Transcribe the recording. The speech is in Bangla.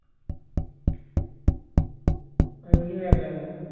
আর উনিও এক লেলা